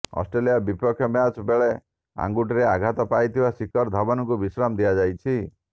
Australia ବିପକ୍ଷ match ବେଳେ ଆଙ୍ଗୁଠିରେ ଆଘାତ ପାଇଥିବା ଶିଖର ଧାୱନଙ୍କୁ ବିଶ୍ରାମ ଦିଆଯାଇଛି